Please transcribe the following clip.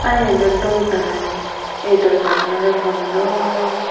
Aah iyan do dol jalan an ei dorwaja gan ole bondo.